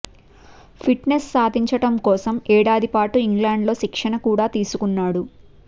fit Nes సాధించడం కోసం ఏడాది పాటు ఇంగ్లాండ్ లో శిక్షణ కూడా తీసుకున్నాడు